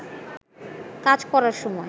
কাজ করার সময়